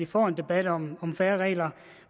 får en debat om færre regler